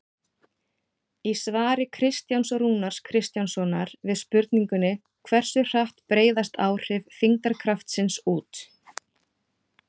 Í svari Kristjáns Rúnars Kristjánssonar við spurningunni Hversu hratt breiðast áhrif þyngdarkraftsins út?